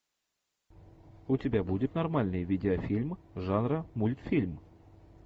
у тебя будет нормальный видеофильм жанра мультфильм